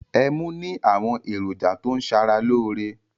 Ẹmu ní àwọn èròjà tó ń ṣara lóore.